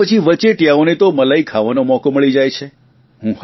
અને પછી વચેટિયાઓને તો મલાઇ ખાવાનો મોકો મળી જાય છે